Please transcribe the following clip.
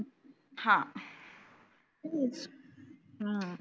हं हम्म